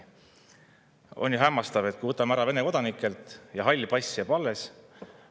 On ju hämmastav, kui me võtame ära Vene kodanikelt, aga halli passi jääb see alles.